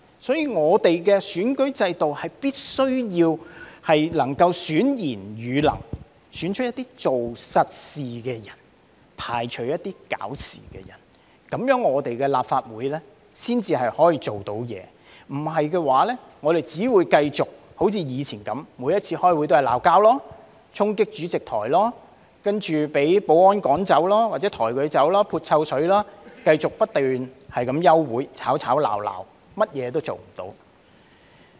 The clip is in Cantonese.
因此，立法會的選舉制度必須能夠選賢與能，選出一些做實事的人，排除一些搞事的人，立法會才可以履行職責，否則我們只會繼續像以往般，每次開會也是吵架、衝擊主席台，接着被保安趕走或抬走、潑臭水，繼續不斷休會，吵吵鬧鬧，甚麼也做不到。